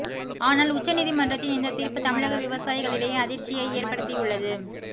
ஆனால் உச்ச நீதிமன்றத்தின் இந்த தீர்ப்பு தமிழக விவசாயிகளிடையே அதிர்ச்சியை ஏற்படுத்தியுள்ளது